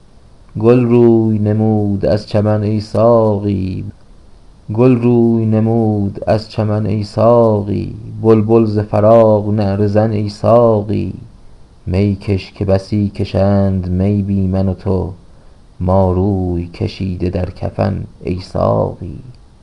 گل روی نمود از چمن ای ساقی بلبل ز فراق نعره زن ای ساقی میکش که بسی کشند می بی من و تو ما روی کشیده در کفن ای ساقی